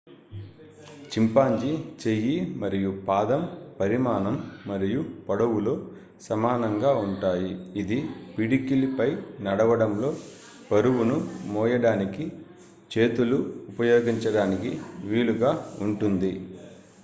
chimpanzee చెయ్యి మరియు పాదం పరిమాణం మరియు పొడవులో సమానంగా ఉంటాయి ఇది పిడికిలి పై నడవడంలో బరువును మోయడానికి చేతులు ఉపయోగించడానికి వీలుగా ఉంటుంది